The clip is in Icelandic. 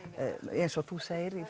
eins og þú segir